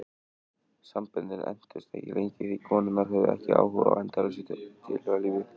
Samböndin entust ekki lengi því konurnar höfðu ekki áhuga á endalausu tilhugalífi.